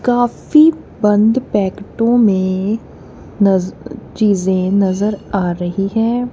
काफी बंद पैकेटोंमें नज चीजें नजर आ रही हैं।